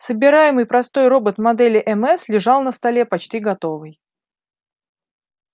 собираемый простой робот модели мс лежал на столе почти готовый